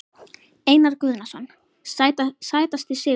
Einar Guðnason Sætasti sigurinn?